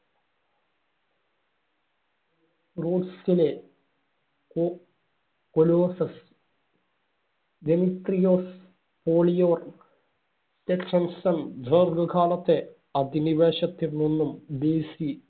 റോസ്സിലെ കൊ കൊലോസസ്. ദെമിത്രിയോസ് പോളിയോർ ദീർഘകാലത്തെ അധിനിവേശത്തിൽ നിന്നും BC